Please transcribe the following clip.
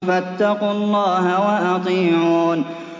فَاتَّقُوا اللَّهَ وَأَطِيعُونِ